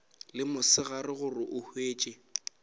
le mosegare gore o hwetše